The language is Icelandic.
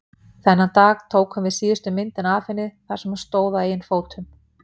Þennan dag tókum við síðustu myndina af henni þar sem hún stóð á eigin fótum.